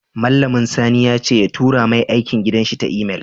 Mallamun sani yace ya tura mai aikin gidan shi ta Email